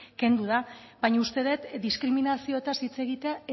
kendu da baina uste dut diskriminazioetaz hitz egitea